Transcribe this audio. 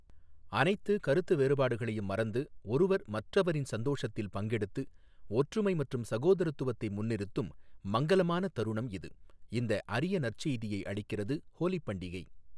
அனைத்து கருத்து வேறுபாடுகளையும் மறந்து, ஒருவர் மற்றவரின் சந்தோஷத்தில் பங்கெடுத்து, ஒற்றுமை மற்றும் சகோதரத்துவத்தை முன்னிறுத்தும் மங்கலமான தருணம் இது, இந்த அரியநற் செய்தியை அளிக்கிறது ஹோலிப் பண்டிகை.